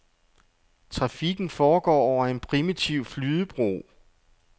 Trafikken foregår over en primitiv flydebro.